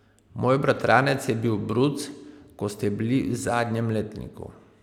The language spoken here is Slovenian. Moj bratranec je bil bruc, ko ste bili v zadnjem letniku.